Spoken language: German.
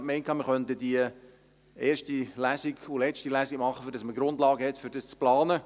ich dachte, wir könnten die erste und letzte Lesung machen, damit man Grundlagen hat, um dies zu planen.